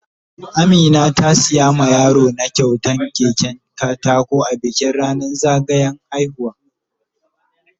Amina ta siya ma yaro na kyautan keken katako a bikin ranan zagayan haihuwa.